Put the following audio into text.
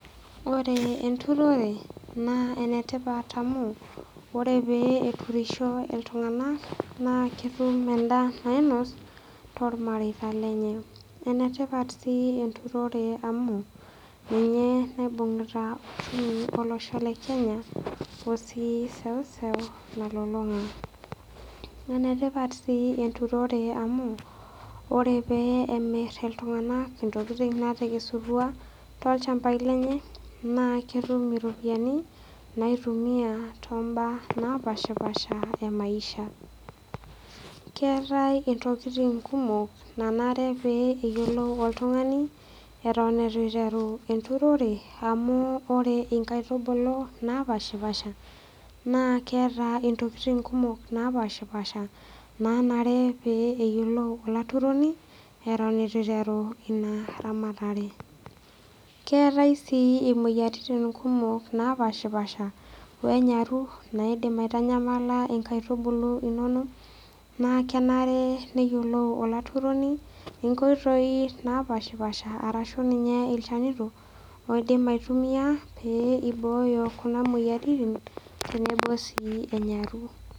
Ore enturore naa enetipat amu ore pee eturisho iltunganak naa ketum endaa nainos tormareita lenye . Enetipat sii enturore amu ninye naibungira uchumi olosho lekenya osii seussu nalulunga .Enetipat sii enturore amu ore pemir iltunganak ntokitin natekesutua tolchambai lenye naa ketum iropiyiani naitumia toombaa napashpasha emaisha . Keetae ntokitin kumok nanare pee eyiolou oltungani eton itu iteru enturore amu ore nkaitubulu napshapasha naa keeta ntokitin napashapasha nanare pee eyiolou olaturoni eton itu iteru inaramatare keetae sii imoyiatin napashapasha wenyaru naidim aitanyamal nkaitubulu inonok naa kenare neyiolou olaturoni nkoitoi napashapasha arashu ninye ilchanito oidim aitumia pee iboyo kuna moyiaritin tenebo sii enyaru.